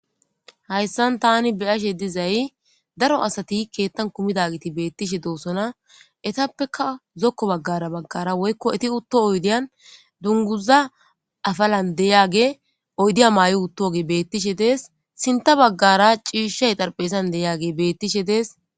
hayssan tani be'ashe dizay daro asati keettan kumidagiti beettishe doosona etappeka zokko baggara baggara woykko eti utto oydiyan dunguza afalan deyage oydiya mayo uttoge bettishe dees sinta baggara ciishay xarpeezan deyage bettishe dees